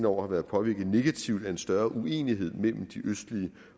år har været påvirket negativt af en større uenighed mellem de østlige